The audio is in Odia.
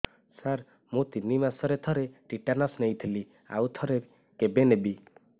ସାର ମୁଁ ତିନି ମାସରେ ଥରେ ଟିଟାନସ ନେଇଥିଲି ଆଉ ଥରେ କେବେ ନେବି